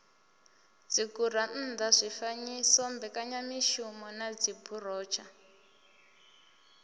dzigurannḓa zwifanyiso mbekanyamishumo na dziburotsha